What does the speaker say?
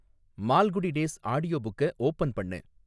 Malgudi days ஆடியோபுக்க open பண்ணு